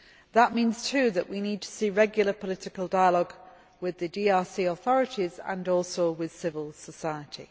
That means too that we need to see regular political dialogue with the DRC authorities and also with civil society.